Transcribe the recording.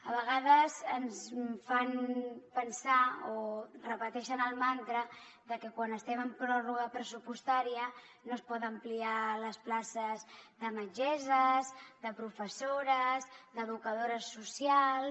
a vegades ens fan pensar o repeteixen el mantra que quan estem en pròrroga pressupostària no es poden ampliar les places de metgesses de professores d’educadores socials